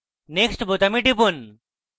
next বোতামে টিপুন